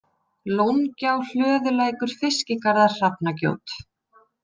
Lóngjá, Hlöðulækur, Fiskigarðar, Hrafnagjót